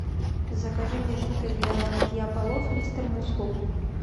закажи мне жидкость для мытья полов мистер мускул